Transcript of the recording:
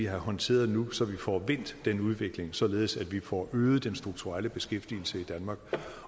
håndteret nu så vi får vendt den udvikling således at vi får øget den strukturelle beskæftigelse i danmark